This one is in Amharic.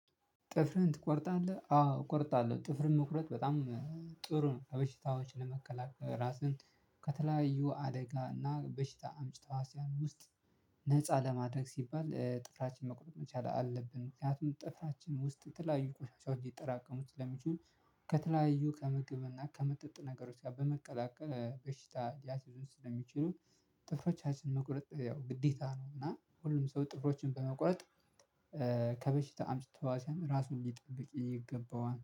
ጥፍርህን ትቆርጣለህ አዎ እቆርጣለሁ ጥፍርን መቁረጥ በጣም ጥሩ ነው። በሽታዎችን ለመከላከል ራስን ከተለያዩ አደጋ እና በሽታ አምጭ ተሕዋስያን ውስጥ ነፃ ለማድረግ ሲባል ጥፍራችን መቁረጥ መቻል አለብን። ምክንያቱም ጥፍራችን ውስጥ የተለያዩ ቆሻሻዎች ሊጠራቀሙ ስለሚችሉ። ከተለያዩ ከምግብና ከመጠጥ ነገሮች ጋር በመቀላቀል በሽታ ሊያስይዙን ስለሚችሉ። ጥፍሮቻችን መቁረጥ ያው ግዴታ ነው። እና ሁሉም ሰው ጥፍሮችን በመቁረጥ ከበሽታ አምጪ ተሕዋስያን ራሱን ሊጠብቅ ይገባዋል